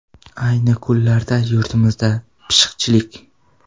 Ayni kunlarda yurtimizda pishiqchilik.